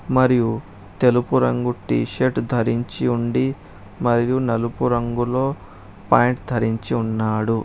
మరియు తెలుపు రంగు టీ షర్ట్ ధరించి ఉండి మరియు నలుపు రంగులో పాయింట్ ధరించి ఉన్నాడు.